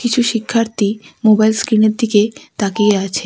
কিছু শিক্ষার্থী মোবাইল স্ক্রিনের দিকে তাকিয়ে আছে।